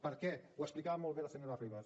per què ho explicava molt bé la senyora ribas